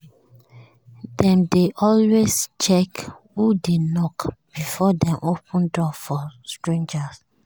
dem dey always check who dey knock before dem open door for stranger.